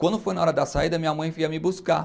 Quando foi na hora da saída, minha mãe vinha me buscar.